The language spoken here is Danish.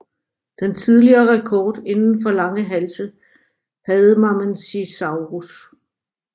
Den tidligere rekord inden for lange halse havde Mamenchisaurus